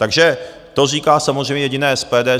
Takže to říká samozřejmě jediné SPD.